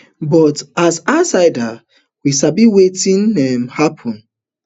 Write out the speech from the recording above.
but as insiders we sabi wetin um happun